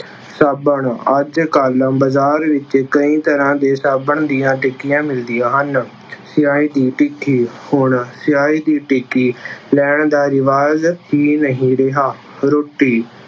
ਸਾਬਣ- ਅੱਜ ਕੱਲ੍ਹ ਬਾਜ਼ਾਰ ਵਿੱਚ ਕਈ ਤਰ੍ਹਾ ਦੇ ਸਾਬਣ ਦੀਆਂ ਟਿੱਕੀਆਂ ਮਿਲਦੀਆ ਹਨ। ਸਿਆਹੀ ਦੀ ਟਿੱਕੀ- ਹੁਣ ਸਿਆਹੀ ਦੀ ਟਿੱਕੀ ਲੈਣ ਦਾ ਰਿਵਾਜ਼ ਹੀ ਨਹੀਂ ਰਿਹਾ। ਰੋਟੀ-